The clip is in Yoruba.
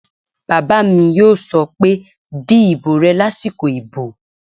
Bàbá mi yóò sọ pé "di ìbò rẹ lásìkò ìbò!"